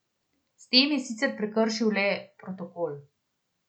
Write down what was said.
S tem je sicer prekršil le protokol.